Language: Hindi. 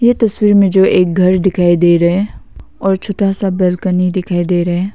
यह तस्वीर में जो एक घर दिखाई दे रहा है और छोटा सा बालकनी दिखाई दे रहा है।